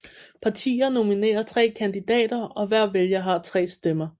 Partier nominerer tre kandidater og hver vælger har tre stemmer